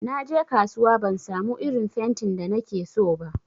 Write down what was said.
Naje kasuwa ban samu irin fentin da nakeso ba.